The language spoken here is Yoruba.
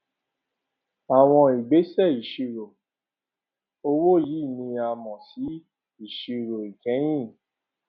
àwọn ìgbésẹ ìṣirò owó yìí ni a mọ sí ìṣirò ìkẹyìn